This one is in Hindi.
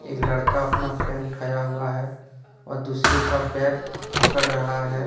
एक लड़का अपना पैर उठाया हुआ है और दूसरे का पैर पकड़ रहा है।